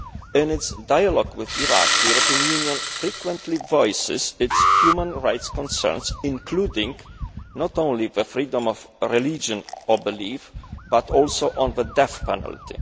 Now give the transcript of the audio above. In its dialogue with Iraq, the European Union frequently voices its human rights concerns, including not only the freedom of religion or belief but also on the death penalty.